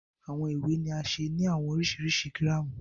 Awọn iwe ni a ṣe ni awọn oriṣiriṣi giramu